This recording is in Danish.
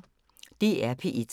DR P1